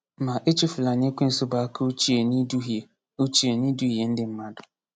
Ma, echefula na Ekwensu bụ aka ochie n’iduhie ochie n’iduhie ndị mmadụ.